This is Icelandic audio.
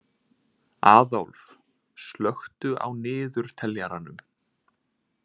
Aðólf, slökktu á niðurteljaranum.